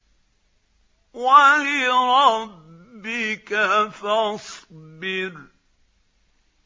وَلِرَبِّكَ فَاصْبِرْ